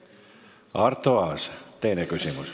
Arto Aas, teine küsimus.